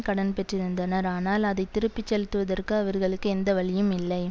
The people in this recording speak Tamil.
கடன் பெற்றிருந்தனர் ஆனால் அதை திருப்பி செலுத்துவதற்கு அவர்களுக்கு எந்த வழியும் இல்லை